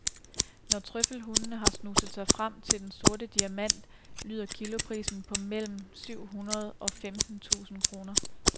Når trøffelhundene har snuset sig frem til den sorte diamant lyder kiloprisen på mellem anden syv hundrede og femten tusind kroner.